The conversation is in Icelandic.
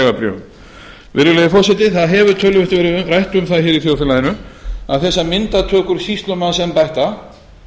vegabréfum virðulegi forseti það hefur töluvert verið rætt um það í þjóðfélaginu að þessar myndatökur sýslumannsembætta